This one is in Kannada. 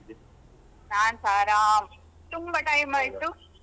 ನಾನ್ಸ ಆರಾಮ್, ತುಂಬ ಟೈಮಾಯ್ತು.